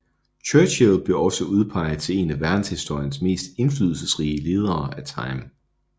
Churchill blev også udpeget til en af verdenshistoriens mest indflydelsesrige ledere af Time